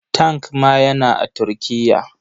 Tank ma yana a Turkiya.